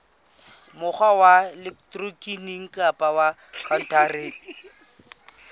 mokgwa wa elektroniki kapa khaontareng